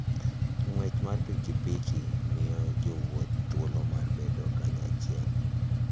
Ng'wech mar pikipiki miyo jowuoth thuolo mar bedo kanyachiel.